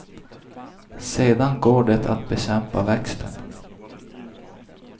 Sedan går det att bekämpa växten.